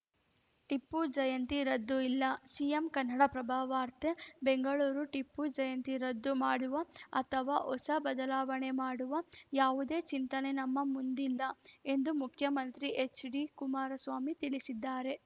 ಟಿಪ್ಪು ಜಯಂತಿ ರದ್ದು ಇಲ್ಲ ಸಿಎಂ ಕನ್ನಡಪ್ರಭ ವಾರ್ತೆ ಬೆಂಗಳೂರು ಟಿಪ್ಪು ಜಯಂತಿ ರದ್ದು ಮಾಡುವ ಅಥವಾ ಹೊಸ ಬದಲಾವಣೆ ಮಾಡುವ ಯಾವುದೇ ಚಿಂತನೆ ನಮ್ಮ ಮುಂದಿಲ್ಲ ಎಂದು ಮುಖ್ಯಮಂತ್ರಿ ಎಚ್‌ಡಿಕುಮಾರಸ್ವಾಮಿ ತಿಳಿಸಿದ್ದಾರೆ